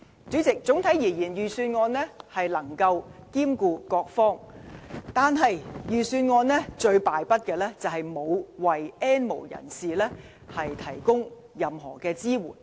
主席，整體而言，預算案能夠兼顧各方，但預算案最敗筆的地方，是沒有為 "N 無人士"提供任何支援。